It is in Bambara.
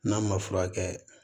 N'a ma furakɛ